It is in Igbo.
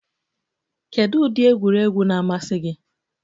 Kedu ụdị egwuregwu na-amasị gị?